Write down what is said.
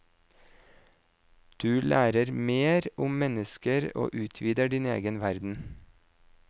Du lærer mer om mennesker og utvider din egen verden.